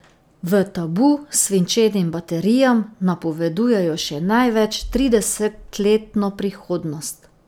V Tabu svinčenim baterijam napovedujejo še največ tridesetletno prihodnost.